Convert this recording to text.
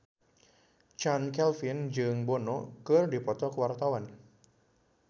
Chand Kelvin jeung Bono keur dipoto ku wartawan